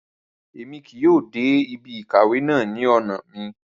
Ràrá, Èmí kìí yóò dé ibí ìkàwé náà ní ọna mí